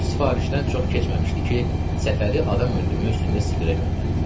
Bu sifarişdən çox keçməmişdi ki, Səfəri adam öldürmək üstündə Sibirə göndərdilər.